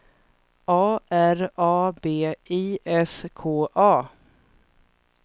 A R A B I S K A